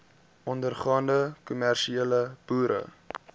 ondergaande kommersiële boere